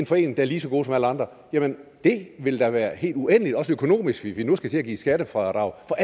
forening er lige så god som alle andre jamen det ville da være helt uendeligt også økonomisk hvis vi nu skulle til at give skattefradrag for